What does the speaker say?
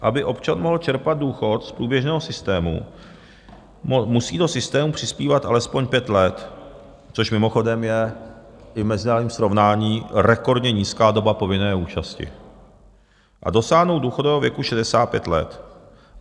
Aby občan mohl čerpat důchod z průběžného systému, musí do systému přispívat alespoň pět let - což mimochodem je i v mezinárodním srovnání rekordně nízká doba povinné účasti - a dosáhnout důchodového věku 65 let.